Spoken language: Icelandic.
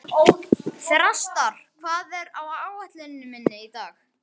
Þrastar, hvað er á áætluninni minni í dag?